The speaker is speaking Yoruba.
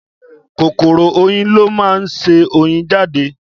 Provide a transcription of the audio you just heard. Kòkòrò oyin lọ máa ń ṣe oyin jáde